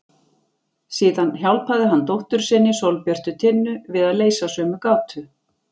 Síðan hjálpaði hann dóttur sinni Sólbjörtu Tinnu við að leysa sömu gátu.